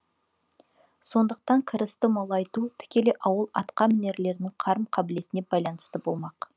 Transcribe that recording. сондықтан кірісті молайту тікелей ауыл атқамінерлерінің қарым қабілетіне байналысты болмақ